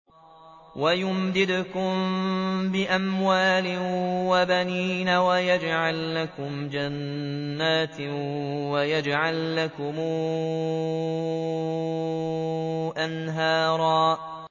وَيُمْدِدْكُم بِأَمْوَالٍ وَبَنِينَ وَيَجْعَل لَّكُمْ جَنَّاتٍ وَيَجْعَل لَّكُمْ أَنْهَارًا